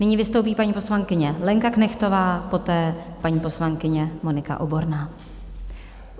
Nyní vystoupí paní poslankyně Lenka Knechtová, poté paní poslankyně Monika Oborná.